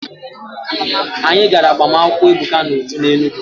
Anyị gara agbamakwụkwọ Ebuka na Uju n'Enugwu.